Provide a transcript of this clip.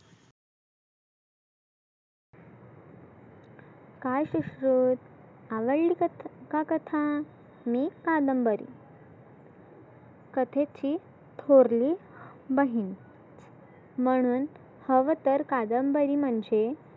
काय सुश्रुत आवाइड कथ कथा मी कादंबरी कथेची थोरली बहिन म्हणुन हवं तर कादंबरी म्हणजे